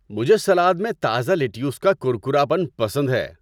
مجھے سلاد میں تازہ لیٹیوس کا کرکراپن پسند ہے۔